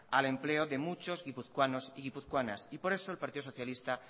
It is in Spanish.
al empleo de muchos guipuzcoanos y guipuzcoanas por eso el partido socialista